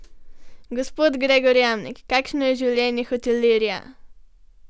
Gospod Gregor Jamnik, kakšno je življenje hotelirja?